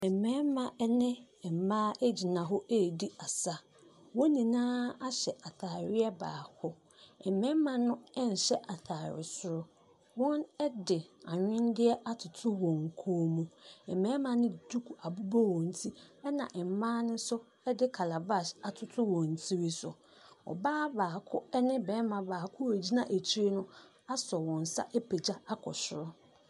Mmarima ne mmaaa gyina hɔ redi asa. Wɔn nyinaaa ahyɛ ataareɛ baako. Mmarima no nhyɛ ataare soro. Wɔde anwenneɛ atoto wɔn kɔn mu. Mmarima no de duku abobɔ wɔn ti ɛna mmaa no nso de calabash atoto wɔn tiri so. Ↄbaa baako ɛne barima baako a wɔgyina akyire no asɔ wɔn nsa apagya akɔ soro.